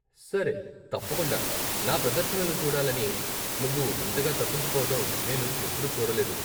సరే తప్పకుండా, నా ప్రదర్శనలు చూడాలని నువ్వు ఇంతగా తపించిపోవటం నేను ఎప్పుడూ చూడలేదు!